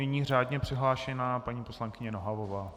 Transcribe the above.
Nyní řádně přihlášená paní poslankyně Nohavová.